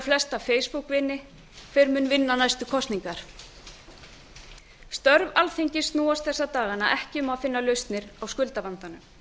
flesta feisbúkkvini hver mun vinna næstu kosningar störf alþingis snúast þessa dagana ekki um að finna lausnir á skuldavandanum